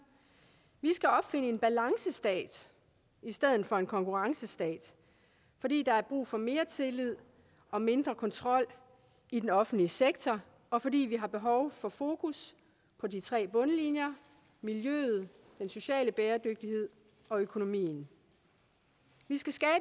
vi skal opfinde en balancestat i stedet for en konkurrencestat fordi der er brug for mere tillid og mindre kontrol i den offentlige sektor og fordi vi har behov for fokus på de tre bundlinjer miljøet den sociale bæredygtighed og økonomien vi skal skabe